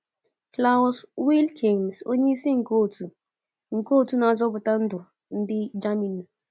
Klaus Wilkens, onyeisi nke Òtù nke Òtù Na-azọpụta Ndụ ndi Germany.